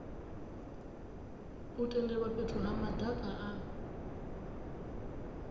tendelwa fhethu ha madaka a